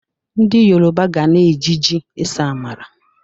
Ndị Yoroba ga na-eji ji ese amala.